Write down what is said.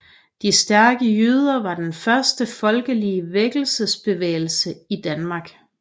De stærke jyder var den første folkelige vækkelsesbevægelse i Danmark